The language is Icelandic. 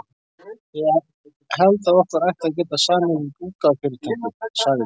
Ég held, að okkur ætti að geta samið við útgáfufyrirtækið sagði